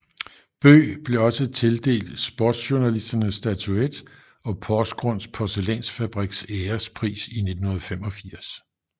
Bøe blev også tildelt Sportsjournalistenes statuett og Porsgrunds Porselænsfabriks Ærespris i 1985